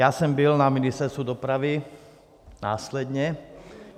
Já jsem byl na Ministerstvu dopravy následně.